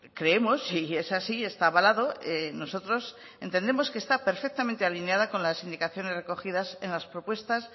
creemos si es así está avalado nosotros entendemos que está perfectamente alineada con las indicaciones recogidas en las propuestas